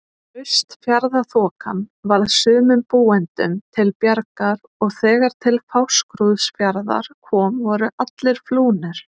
Austfjarðaþokan varð sumum búendum til bjargar og þegar til Fáskrúðsfjarðar kom voru allir flúnir.